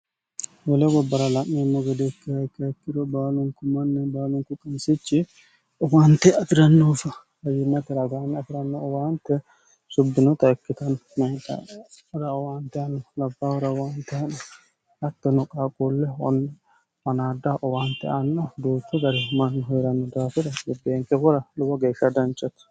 wele gobbora la'meenno godeekki hayikke hikkiro baalunku manne baalunku qansichi owaante afi'rannoofa hawinateragaame afi'ranno owaante subbinota ikkitnno meera owaante anno labahur waanteno hattono qaaquulle manaadda owaante anno duuttu gari manni hi'ranno daafira giggeenke hora lubo geeshsha danchati